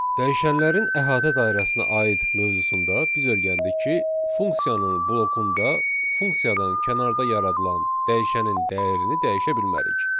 Dəyişənlərin əhatə dairəsinə aid mövzusunda biz öyrəndik ki, funksiyanın blokunda funksiyadan kənarda yaradılan dəyişənin dəyərini dəyişə bilmərik.